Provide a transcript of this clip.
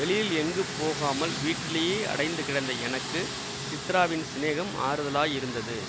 வெளியில் எங்கும் போகாமல் வீட்டிலேயே அடைந்து கிடந்த எனக்கு சித்ராவின் சிநேகம் ஆறுதலாயிருந்தது